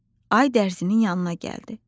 Ay dərzinin yanına gəldi.